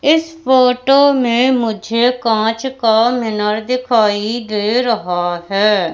इस फोटो में मुझे कांच का मीनार दिखाई दे रहा है।